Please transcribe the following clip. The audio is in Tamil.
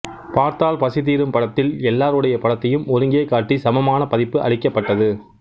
பார்த்தால் பசி தீரும் படத்தில் எல்லாருடைய படத்தையும் ஒருங்கே காட்டி சமமான மதிப்பு அளிக்கப்பட்டது